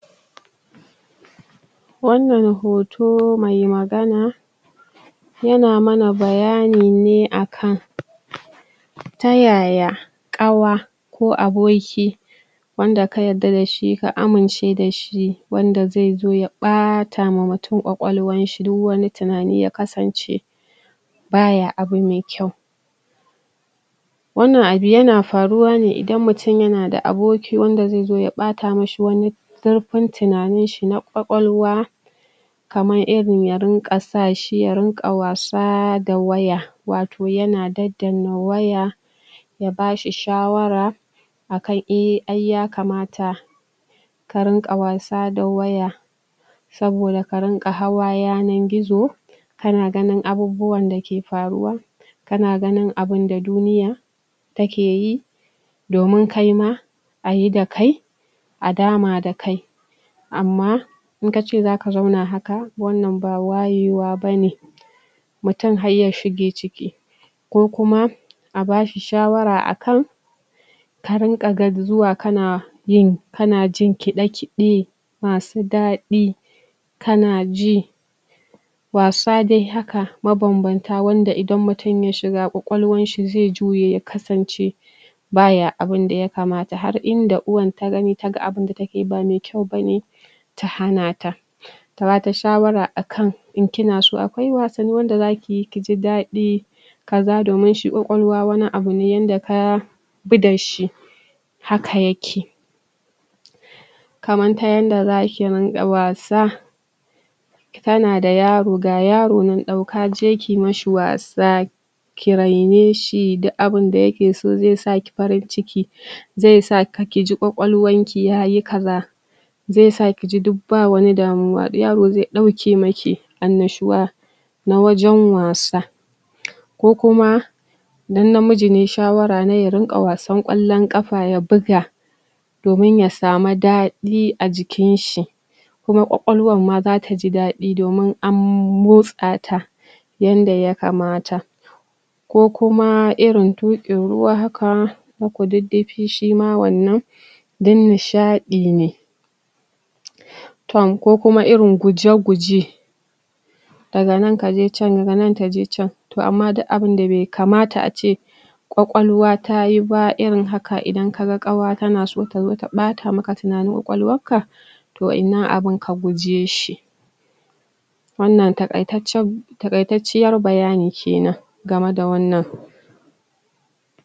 wannan hoto mai magana yana mana bayani ne akan ta yaya ƙawa ko aboki wanda ka yarda da shi ka amince da shi wanda zaizo ya ɓata ma mutum ƙwaƙwalwan shi don wani tunani yakasance ba ya abu me kyau wannan abu yana faruwa ne idan mutum yana da aboki wanda zaizo ya ɓata ma shi wani ƙarfin tunanin shi na ƙwaƙwalwa kaman irin ya runƙa sa shi ya runƙa wasa da waya wato yana daddana waya ya bashi shawara akan eh ai yakamata ka runƙa wasa da waya saboda ka runƙa hawa yanar gizo kana ganin abubuwan da ke faruwa kana ganin abunda duniya take yi domin kaima ayi da kai a dama da kai amma in kace zaka zauna haka wannan ba wayewa bane mutum har ya shige ciki ko kuma a bashi shawara a kan ka runƙa zuwa kana yin kana jin kiɗe kiɗe masu daɗi kana ji wasa dai haka mabanbanta wanda idan mutum ya shiga ƙwaƙwalwanshi zai juye ya kasance baya abunda yakamata har inda uwan ta gani ta ga abunda takeyi ba mai kyau bane ta hana ta ta bata shawara akan in kina so akwai wasanni da za kiyi kiji dadi ka za domin shi ƙwaƙwalwa wani abu ne yanda ka ku da shi haka yake kaman ta yanda zaki runƙa wasa kana da yaro ga yaro nan ɗauka je ki mashi wasa ki raine shi duk abunda yake so zai sa ki farin ciki zai sa kiji Ƙwaƙwalwan ki yayi kaza zai sa kiji duk ba wani damuwa yaro zai ɗauke maki annashuwa na wajen wasa ko kuma don namiji ne shawarane ya runƙa wasan ƙwallon ƙafa ya buga domin ya samu daɗi a jikin shi kuma ƙwaƙwalwan ma zata ji daɗi domin an motsa ta yanda yakamata ko kuma irin ɗuruwa haka haka duddufi shima wannan don nishaɗi ne tom ko kuma irin guje guje daga nan kaje can daga nan kaje can toh amma duk abunda da bai kamata ace ƙwaƙwalwa tayi ba irin haka idan kaga ƙawa tanaso ta ɓata maka tunanin ƙwaƙwalwan ka to wa'innan abun ka guje shi wannan taƙaitaccen taƙaitacciyar bayani kenan game da wannan